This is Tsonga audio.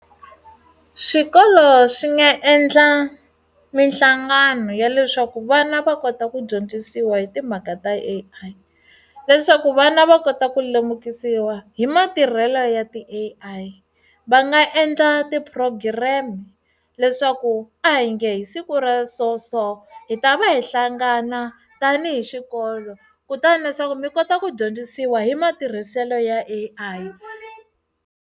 Swikolo swi nga endla mihlangano ya leswaku vana va kota ku dyondzisiwa hi timhaka ta A_I leswaku vana va kota ku lemukisiwa hi matirhelo ya ti A_I va nga endla ti program leswaku a hi nge hi siku ra so so hi ta va hi hlangana tanihi xikolo kutani leswaku mi kota ku dyondzisiwa hi matirhiselo ya A_I.